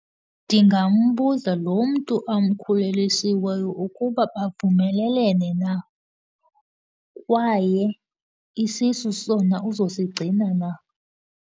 Ndingambuza, lo mntu amkhulelisileyo ukuba bavumelelene na, kwaye isisu sona uzosigcina na.